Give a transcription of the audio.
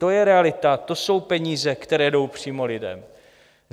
To je realita, to jsou peníze, které jdou přímo lidem.